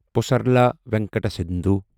Pusarla Venkata Sindhu